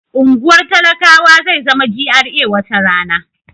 Unguwar talakawa zai zama GRA wata rana